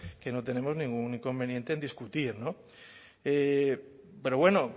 que no tenemos ningún conveniente en discutir no pero bueno